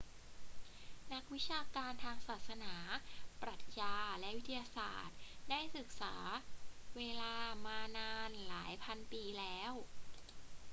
นักวิชาการทางศาสนา ปรัชญา และวิทยาศาสตร์ ได้ศึกษาเวลามานานหลายพันปีแล้ว